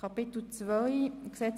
Folgender Erlass wird geändert: